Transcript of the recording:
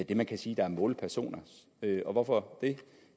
det man kan sige er målpersoner og hvorfor det